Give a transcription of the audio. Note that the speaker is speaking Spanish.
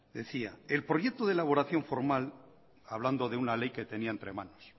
decía el proyecto de elaboración formal hablando de una ley que tenía entre manos